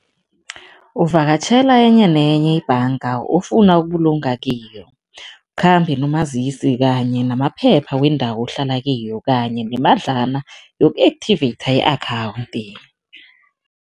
Uvakatjhela enye nenye ibhanga ofuna ukubulunga kiyo, ukhambe nomazisi kanye namaphepha wendawo ohlala kiyo kanye nemadlana yoku-activate i-akhawundi.